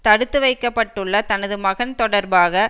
தடுத்து வைக்க பட்டுள்ள தனது மகன் தொடர்பாக